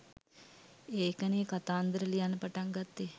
ඒකනේ කතන්දර ලියන්න පටන් ගත්තේ